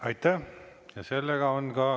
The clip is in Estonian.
Aitäh!